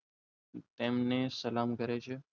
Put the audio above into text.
એમને સલામ કરે છે